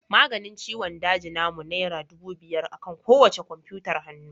Maganin ciwon daji namu naira dubu biyar akan kowacce kwamfutar hannu